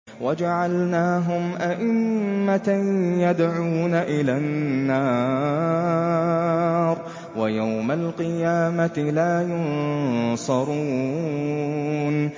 وَجَعَلْنَاهُمْ أَئِمَّةً يَدْعُونَ إِلَى النَّارِ ۖ وَيَوْمَ الْقِيَامَةِ لَا يُنصَرُونَ